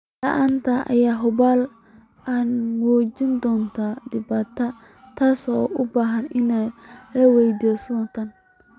La'aanta ayaa hubaal ah inay muujin doonto dhibaato, taasoo u baahan in la weydiiyo sida tan.